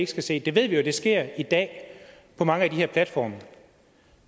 skal se det ved vi jo sker i dag på mange af de her platforme